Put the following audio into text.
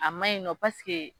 A man ɲi nɔ